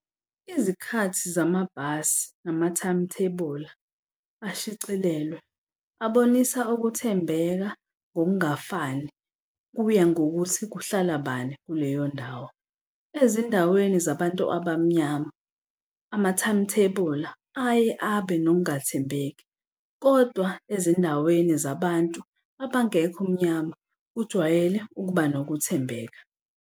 Izikhathi zamabhasi nama-timetable-a ashicilelwe abonisa ukuthembeka ngokungafani kuya ngokuthi kuhlala bani kuleyo ndawo. Ezindaweni zabantu abamnyama ama-timetable-a aye abe nokungathembeki, kodwa ezindaweni zabantu abangekho mnyama kujwayele ukuba nokuthembeka.